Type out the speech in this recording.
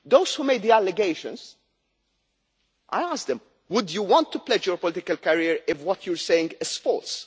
Those who made the allegations, I asked them would you want to pledge your political career if what you are saying is false?'